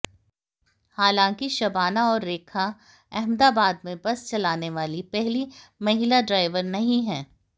हालांकि शबाना और रेखा अहमदाबाद में बस चलाने वाली पहली महिला ड्राइवर नहीं हैं